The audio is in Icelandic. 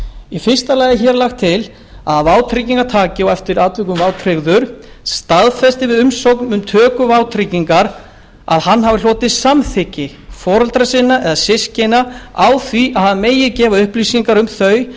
í fyrsta lagi er lagt til að vátryggingartaki eða eftir atvikum vátryggður staðfesti við umsókn um töku vátryggingar að hann hafi hlotið samþykki foreldra sinna eða systkina fyrir því að hann megi gefa upplýsingar